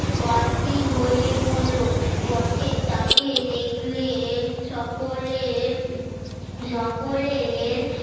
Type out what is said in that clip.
অস্থির হয়ে পরল পথের তাকে দেখলে এম সকলের সকলের